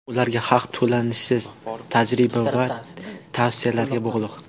Ularga haq to‘lanishi tajriba va tavsiyalarga bog‘liq.